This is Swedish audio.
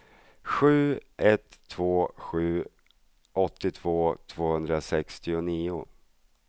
sju ett två sju åttiotvå tvåhundrasextionio